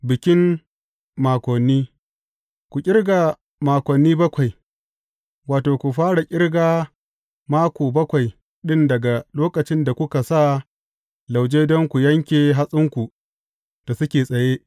Bikin Makoni Ku ƙirga makoni bakwai, wato, ku fara ƙirga mako bakwai ɗin daga lokacin da kuka sa lauje don ku yanke hatsinku da suke tsaye.